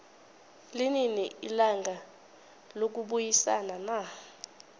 linini ilanga lokubayisana na